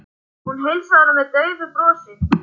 Hún heilsaði honum með daufu brosi.